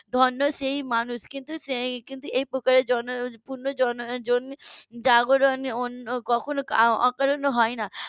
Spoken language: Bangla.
ধন্য সেই মানুষ কিন্তু সেই এই প্রকারের উম জনজাগরণ অন্য কখনো অকারণে হয় না